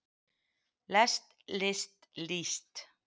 lest list líst